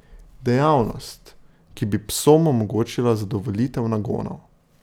Dejavnost, ki bi psom omogočila zadovoljitev nagonov.